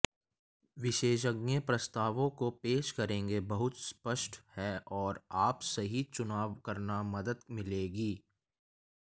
विशेषज्ञ प्रस्तावों को पेश करेंगे बहुत स्पष्ट हैं और आप सही चुनाव करना मदद मिलेगी